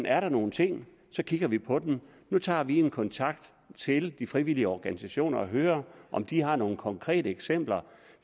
er der nogen ting så kigger vi på dem nu tager vi kontakt til de frivillige organisationer og hører om de har nogen konkrete eksempler